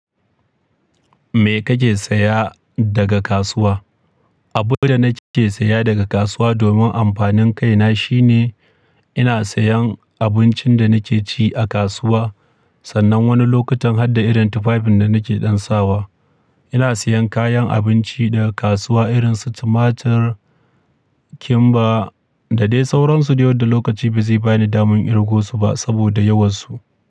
Me kake saya daga kasuwa? Abin da nake siya daga kasuwa domin amfanin kaina shine ina sayan abincin da nake ci a kasuwa. Sannan wani lokutan harda irin tufafin da nake ɗan sawa. Ina sayan kayan abinci daga kasuwa irin su tumatar, kimba da dai sauransu da yau da lokaci ba zai bani daman kirgo su ba saboda yawansu.